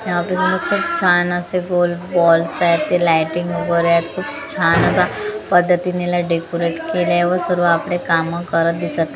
यामध्ये खूप छान असे गोल वॉल्स आहेत ते लाइटिंग वगैरे आहेत खूप छान अशा पद्धतीने याला डेकोरेट केलंय व सर्व आपले काम करत दिसत --